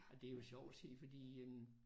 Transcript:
Og det er jo sjovt at se fordi en